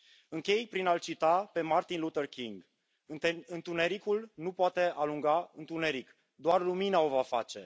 Închei prin a l cita pe Martin Luther King Întunericul nu poate alunga întuneric, doar lumina o va face.